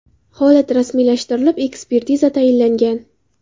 Holat rasmiylashtirilib, ekspertiza tayinlangan.